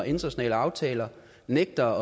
internationale aftaler nægter